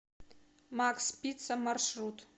макс пицца маршрут